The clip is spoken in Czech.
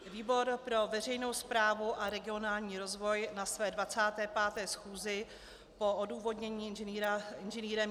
Výbor pro veřejnou správu a regionální rozvoj na své 25. schůzi po odůvodnění Ing.